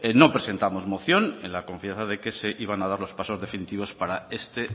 no presentamos moción en la confianza de que se iban a dar los pasos definitivos para este